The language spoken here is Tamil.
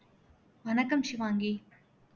வணக்கம் ஷிவாங்கி